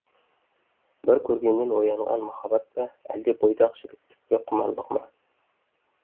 бір көргеннен оянған махаббат па әлде бойдақ жігіттік пе құмарлығы ма